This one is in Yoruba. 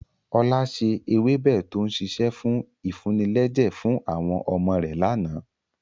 Ọlá ṣe ewébẹ̀ to ń sise fún ìfúnilẹ́jẹ̀ fún àwọn ọmọ rẹ̀ láánaà.